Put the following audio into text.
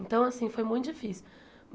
Então, assim, foi muito difícil.